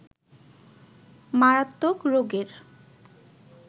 মারাত্মক রোগের